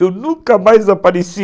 Eu nunca mais apareci